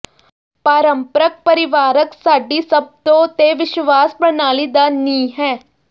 ਪਾਰੰਪਰਕ ਪਰਿਵਾਰਕ ਸਾਡੀ ਸਭਤੋਂ ਤੇ ਵਿਸ਼ਵਾਸ ਪ੍ਰਣਾਲੀ ਦਾ ਨੀਂਹ ਹੈ